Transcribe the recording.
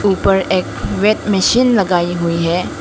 ऊपर एक weight machine लगाई हुई है।